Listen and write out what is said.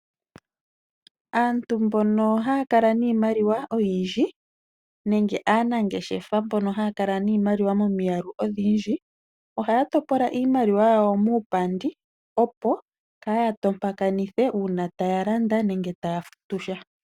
Aantu mbono haya kala niimaliwa oyindji, nenge aanangeshefa mbono haya kala niimaliwa momiyalu odhindji , ohaya topola iimaliwa yawo muupandi opo kaaya tompakanithe uuna taya landa nenge taya futu sha.